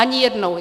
Ani jednou.